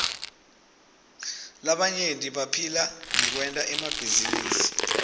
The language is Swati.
labanyenti baphila ngekwenta emabhizinisi